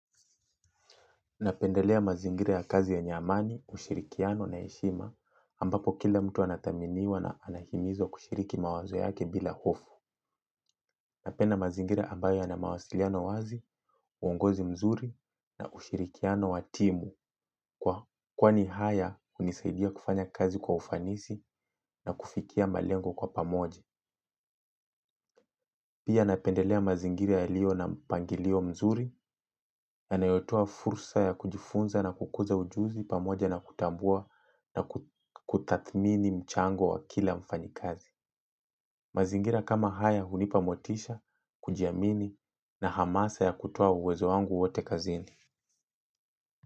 Napendelea mazingira ya kazi yenye amani, ushirikiano na heshima ambapo kila mtu anathaminiwa na anahimizwa kushiriki mawazo yake bila hofu. Napenda mazingira ambayo yana mawasiliano wazi, uongozi mzuri na ushirikiano wa timu kwani haya hunisaidia kufanya kazi kwa ufanisi na kufikia malengo kwa pamoje. Pia napendelea mazingira yaliyo na mpangilio mzuri yanayotoa fursa ya kujifunza na kukuza ujuzi pamoja na kutambua na kutathmini mchango wa kila mfanyikazi. Mazingira kama haya hunipa motisha, kujiamini na hamasa ya kutoa uwezo wangu wote kazini.